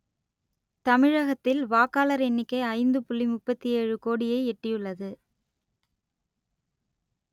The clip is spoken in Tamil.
தமிழகத்தில் வாக்காளர் எண்ணிக்கை ஐந்து புள்ளி முப்பத்தியேழு கோடியை எட்டியுள்ளது